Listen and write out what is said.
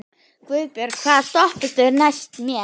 Guðbjörg, hvaða stoppistöð er næst mér?